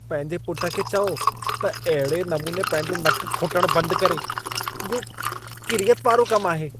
पंहिंजे पुट खे चओ त अहिड़े नमूने पंहिंजो नकु खोटणु बंदि करे। इहो किरियत वारो कमु आहे।